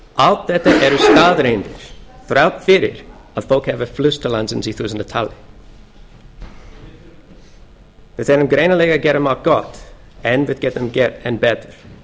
allt þetta eru staðreyndir þrátt fyrir að fólk hafi flust til landsins í þúsundatali við erum greinilega að gera margt gott en við getum gert enn betur